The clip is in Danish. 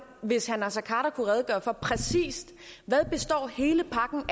hvis herre naser khader kunne redegøre for præcis hvad hele pakken